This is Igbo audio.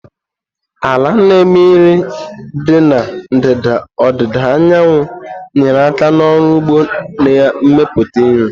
Ala na-eme nri dị na ndịda ọdịda anyanwụ nyere aka n'ọrụ ugbo na mmepụta nri.